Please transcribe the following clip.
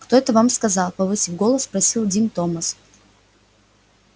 кто это вам сказал повысив голос спросил дин томас